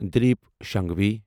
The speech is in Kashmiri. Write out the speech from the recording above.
دلیٖپ شنگھوی